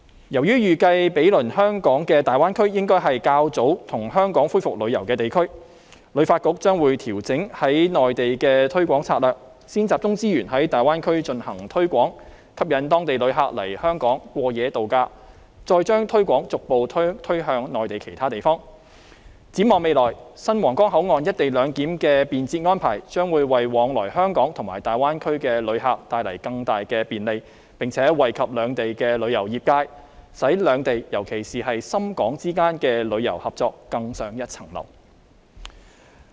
由於預計毗鄰香港的大灣區應該是較先跟香港恢復旅遊的地區，旅發局將會調整在內地的推廣策略，先集中資源在大灣區進行推廣，吸引當地旅客來香港過夜度假，再將推廣逐步推向內地其他地方，展望未來新皇崗口岸"一地兩檢"的便捷安排，將會為往來香港和大灣區的旅客帶來更大便利，並且惠及兩地的旅遊業界，使兩地尤其是深港之間的旅遊合作更上一層樓。